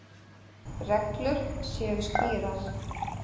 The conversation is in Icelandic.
Reglur séu skýrar.